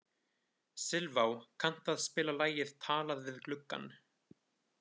Silfá, kanntu að spila lagið „Talað við gluggann“?